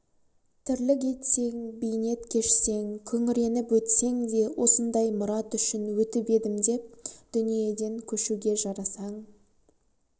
тірлік етсең бейнет кешсең күңіреніп өтсең де осындай мұрат үшін өтіп едім деп дүниеден көшуге жарасаң